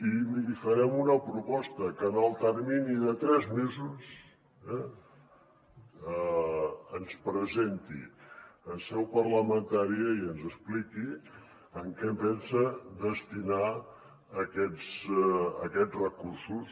i li farem una proposta que en el termini de tres mesos ens presenti en seu parlamentària i ens expliqui en què pensa destinar aquests recursos